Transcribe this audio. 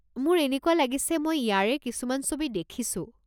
মোৰ এনেকুৱা লাগিছে মই ইয়াৰে কিছুমান ছবি দেখিছো।